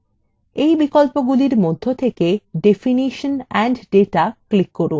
in বিকল্পগুলির মধ্যে থেকে definition and data click করুন